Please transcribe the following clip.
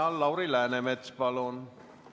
Lauri Läänemets, palun!